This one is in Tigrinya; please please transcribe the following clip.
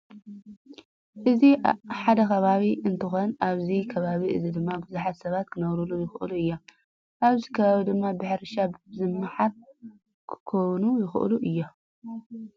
እዚ ሓደ ከባቢ እንትኮን ኣብዚ ከባቢ እዚ ድማ ቡዙሓት ሰብ ክነብርሉ ይክእሉ እዮም። ኣብዚ ከባቢ ድማ ብሕርሻ ዝማሓሩ ክኮኑ ይክእሉ እዮም።